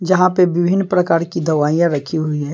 जहां पे विभिन्न प्रकार की दवाइयां रखी हुई है।